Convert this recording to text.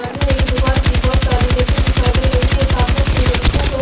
सामने एक दुकान की बहोत सारी रेके दिखाई दे रही है सामने की रेको पर--